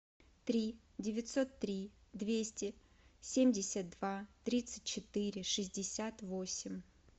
три девятьсот три двести семьдесят два тридцать четыре шестьдесят восемь